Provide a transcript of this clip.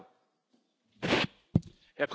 Herr Präsident, liebe Kolleginnen und Kollegen!